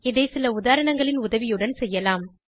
இதை சில உதாரணங்களின் உதவியுடன் செய்யலாம்